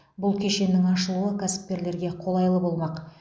бұл кешеннің ашылуы кәсіпкерлерге қолайлы болмақ